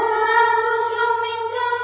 শুভ্রজোৎস্নাপুলকিতযামিনী